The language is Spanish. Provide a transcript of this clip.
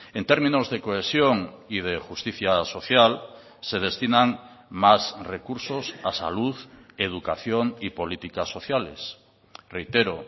en términos de cohesión y de justicia social se destinan más recursos a salud educación y políticas sociales reitero